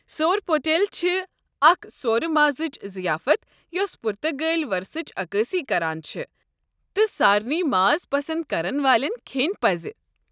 سورپوٹل چھِ اکھ سورٕ مازٕچ ضِیافت یوسہٕ پُرتگٲلی ورثٕچ عکٲسی کران چھےٚ تہٕ سارنی ماز پسنٛد كرن والٮ۪ن کھیٚنۍ پزِ۔